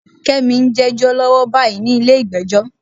Kẹ́mi ń jẹ́jọ́ lọ́wọ́ báyìí nílé ìgbẹ́jọ́.